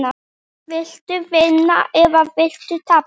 Viltu vinna eða viltu tapa?